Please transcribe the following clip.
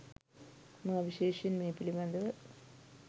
මා විශේෂයෙන් මේ පිළිබඳව